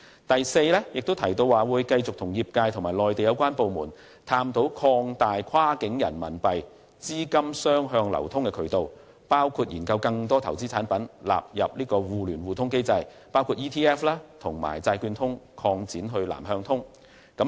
第四，政府亦提到會繼續與業界和內地有關部門，探討擴大跨境人民幣資金雙向流通的渠道，並研究將更多投資產品納入互聯互通機制，包括把 ETF 和債券通擴展至"南向通"。